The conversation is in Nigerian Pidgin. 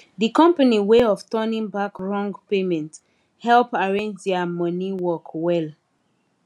the company way of turning back wrong payment help arrange their money work well